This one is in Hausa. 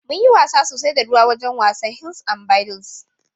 Mun yi wasa sosai da ruwa awajan wasan hils an balli